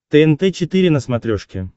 тнт четыре на смотрешке